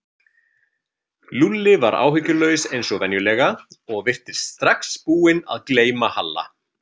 Lúlli var áhyggjulaus eins og venjulega og virtist strax búinn að gleyma Halla.